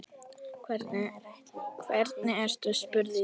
Hvernig ertu spurði ég.